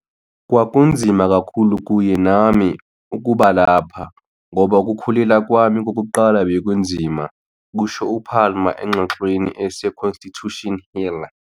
"Kwakunzima kakhulu kuye nami, nami ukuba lapha ngoba ukukhulelwa kwami ​​kokuqala bekunzima," kusho uPalmer engxoxweni ese-Constitution Hill.